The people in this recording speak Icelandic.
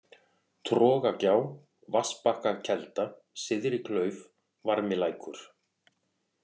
Trogagjá, Vatnsbakkakelda, Syðri-Klauf, Varmilækur